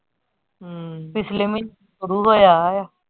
ਹਮ ਪਿਛਲੇ ਮਹੀਨੇ ਸ਼ੁਰੂ ਹੋਇਆ ਆ।